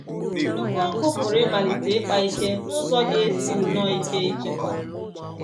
Nnukwu ọkụ pụrụ ịmalite ịkpa ike n’ụzọ ga-esi nnọọ ike ịchịkwa